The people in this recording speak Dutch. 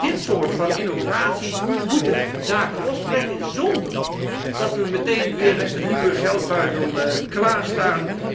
Dit soort van innovaties moet de zaken lostrekken zonder dat wij meteen weer met een nieuwe geldbuidel klaarstaan.